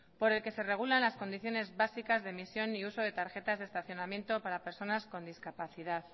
por el que se regulan las condiciones básicas de emisión y uso de tarjetas de estacionamiento para personas con discapacidad